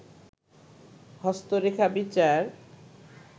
হস্তরেখা বিচার